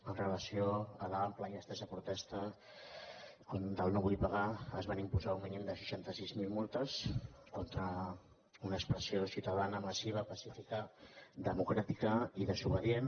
amb relació a l’àmplia i estesa protesta contra el no vull pagar es van imposar un mínim de seixanta sis mil multes contra una expressió ciutadana massiva pacífica democràtica i desobedient